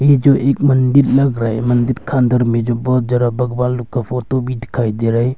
ये जो एक मंदिर लग रहा है मंदिर का अंदर में जो बहौत ज्यादा भगवान लोग का फोटो भी दिखाई दे रहा है।